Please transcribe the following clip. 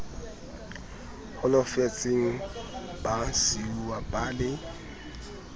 holofetseng ba siuwa ba le